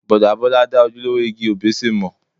Bọ̀dá Bọ́lá dá ojúlówó igi òbéṣé mọ̀.